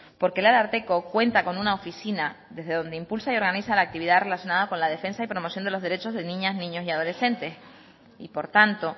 porque el ararteko cuenta con una oficina desde donde impulsa y organiza la actividad relacionada con la defensa y promoción de los derechos de niñas niños y adolescentes y por tanto